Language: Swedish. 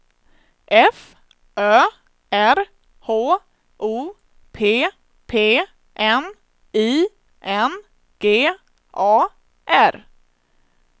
F Ö R H O P P N I N G A R